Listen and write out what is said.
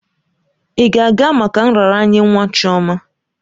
Ị ga-aga maka nraranye nwa Chioma?